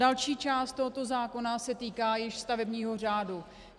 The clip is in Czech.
Další část tohoto zákona se týká již stavebního řádu.